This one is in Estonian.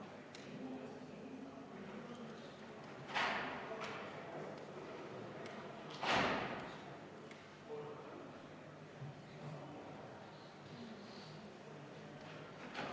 Aga teie ütlus, et seda, kui palju see samas ühiskonnale tagasi toob, võiks arutada näiteks pärast järgmisi valimisi, on muidugi julgustav.